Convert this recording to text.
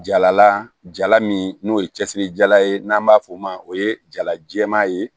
Jalala jala min n'o ye cɛsiri jala ye n'an b'a f'o ma o ye jala jɛman ye